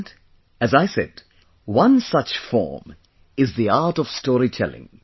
And, as I said, one such form is the art of storytelling